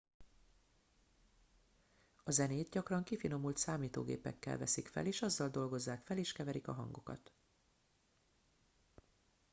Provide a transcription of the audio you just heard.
a zenét gyakran kifinomult számítógépekkel veszik fel és azzal dolgozzák fel és keverik a hangokat